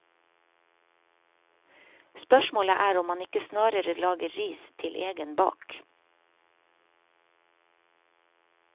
Spørsmålet er om man ikke snarere lager ris til egen bak.